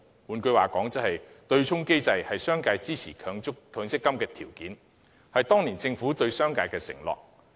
換句話說，對沖機制是商界支持強積金的條件，是當年政府對商界的承諾。